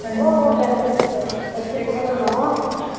அனிதா ஓ ஓ கிடைச்சுருச்சு கிடைச்சுருச்சு தெக்க குடுக்கணும்